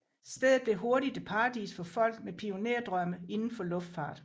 Stedet blev hurtigt et paradis for folk med pionerdrømme inden for luftfart